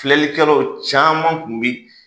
Filɛlikɛlaw caman kun bɛ